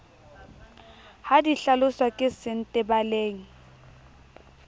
ha di hlaloswa ke sentebaleng